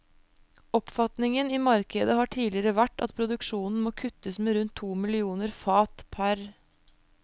Oppfatningen i markedet har tidligere vært at produksjonen må kuttes med rundt to millioner fat pr.